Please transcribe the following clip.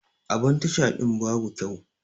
Abun Tasha din babu kyau.